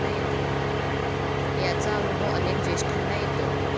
याचा अनुभव अनेक ज्येष्ठांना येतो.